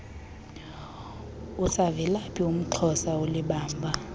usavelaphi umxhosa olibamba